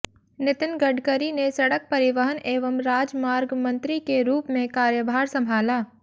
नितिन गडकरी ने सड़क परिवहन एवं राजमार्ग मंत्री के रूप में कार्यभार संभाला